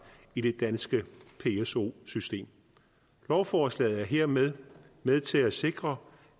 i det danske pso system lovforslaget er hermed med til at sikre